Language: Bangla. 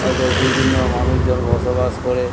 ওতে বিভিন্ন মানুষজন বসবাস করে ।